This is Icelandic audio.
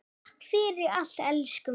Takk fyrir allt, elsku mamma.